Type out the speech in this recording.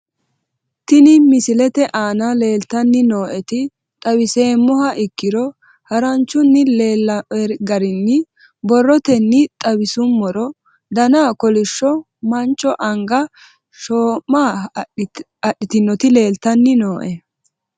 Tinni misete aana leltani nooeti xawiseemoha ikkiro haranchunni leelawoe garinni borootenni xawisumorro danna kolisho mancho anga shooma hadhinot leltanni nooe